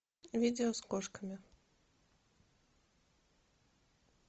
видео с кошками